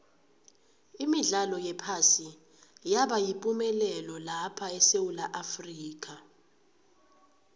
imidlalo yephasi yabayipumelelo lapha esewula afrika